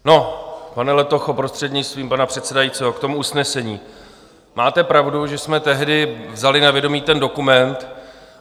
No, pane Letocho, prostřednictvím pana předsedajícího, k tomu usnesení - máte pravdu, že jsme tehdy vzali na vědomí ten dokument.